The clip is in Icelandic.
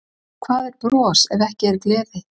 Hvað er bros ef ekki er gleði?